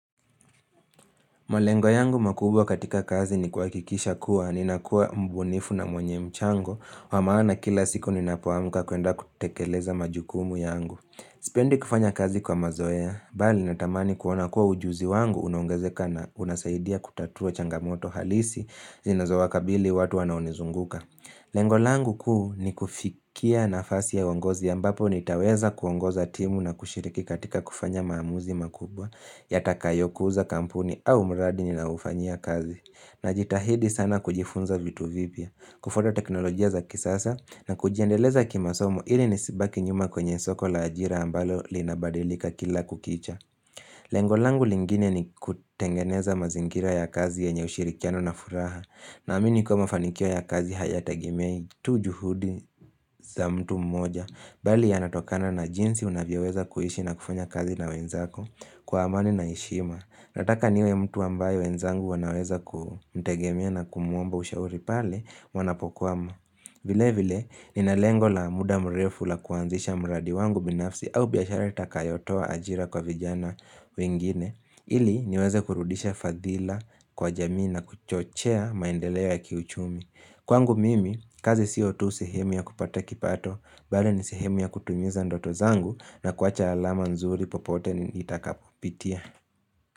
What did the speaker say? Malengo yangu makubwa katika kazi ni kuhakikisha kuwa, ninakuwa mbunifu na mwenye mchango, wa maana kila siku ninapoamuka kuenda kutekeleza majukumu yangu. Sipendi kufanya kazi kwa mazoea, bali natamani kuona kuwa ujuzi wangu, unaongezeka na unasaidia kutatua changamoto halisi, zinazowakabili watu wanaonizunguka. Lengo langu kuu ni kufikia nafasi ya uongozi ambapo nitaweza kuongoza timu na kushiriki katika kufanya maamuzi makubwa. Yatakayokuza kampuni au mradi ninaoufanyia kazi. Najitahidi sana kujifunza vitu vipya, kufuata teknolojia za kisasa na kujiendeleza kimasomo ili nisibaki nyuma kwenye soko la ajira ambalo linabadilika kila kukicha Lengo langu lingine ni kutengeneza mazingira ya kazi yenye ushirikiano na furaha. Naamini kuwa mafanikio ya kazi hayategemei tu juhudi za mtu mmoja bali yanatokana na jinsi unavyoweza kuhishi na kufanya kazi na wenzako kwa amani na heshima. Nataka niwe mtu ambaye wenzangu wanaweza kumtegemea na kumuomba ushauri pale wanapokuwa vile vile, nina lengo la muda mrefu la kuanzisha mradi wangu binafsi au biashara itakayotoa ajira kwa vijana wengine. Ili niweze kurudisha fadhila kwa jamii na kuchochea maendeleo ya kiuchumi. Kwangu mimi, kazi sio tu sehemu ya kupata kipato bali, ni sehemu ya kutumiza ndoto zangu na kuacha alama nzuri popote nitakapopitia.